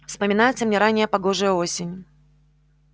вспоминается мне ранняя погожая осень